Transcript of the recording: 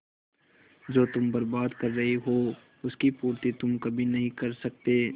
जो तुम बर्बाद कर रहे हो उसकी पूर्ति तुम कभी नहीं कर सकते